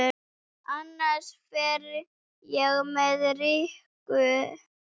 Annars fer ég með Rikku